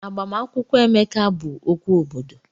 Agbamakwụkwọ Emeka bụ okwu obodo.